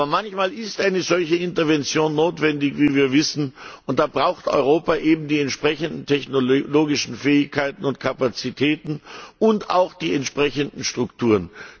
Aber manchmal ist eine solche Intervention notwendig, wie wir wissen, und da braucht Europa eben die entsprechenden technologischen Fähigkeiten und Kapazitäten und auch die entsprechenden Strukturen.